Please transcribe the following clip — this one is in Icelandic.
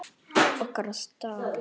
Okkar staður.